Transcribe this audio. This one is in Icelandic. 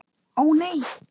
Ó, nei.